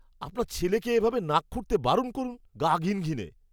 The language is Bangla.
আপনার ছেলেকে এভাবে নাক খুঁটতে বারণ করুন। গা ঘিনঘিনে!